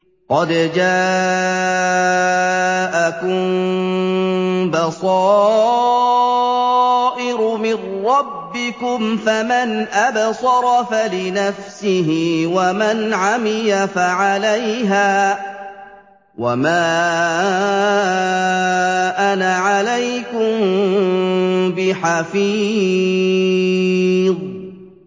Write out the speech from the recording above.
قَدْ جَاءَكُم بَصَائِرُ مِن رَّبِّكُمْ ۖ فَمَنْ أَبْصَرَ فَلِنَفْسِهِ ۖ وَمَنْ عَمِيَ فَعَلَيْهَا ۚ وَمَا أَنَا عَلَيْكُم بِحَفِيظٍ